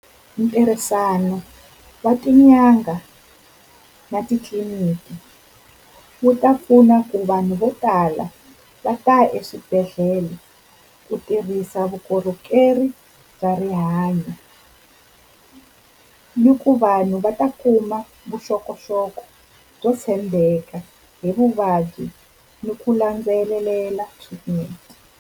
Ntirhisano wa tinyanga na titliliniki wu ta pfuna ku vanhu vo tala va ta ya eswibedhlele ku tirhisa vukorhokeri bya rihanyo, ni ku vanhu va ta kuma vuxokoxoko byo tshembeka hi vuvabyi ni ku landzelela swipfuneto.